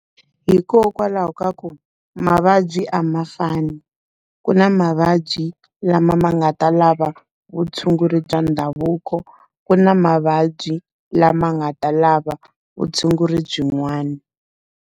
Hikokwalaho ka ku, mavabyi a ma fani. Ku na mavabyi lama ma nga ta lava vutshunguri bya ndhavuko, ku na mavabyi lama nga ta lava vutshunguri byin'wana.